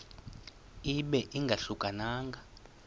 ibe ingahluka nanga